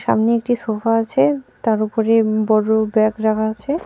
সামনে একটি সোফা আছে তার উপরে বড় ব্যাগ রাখা আছে।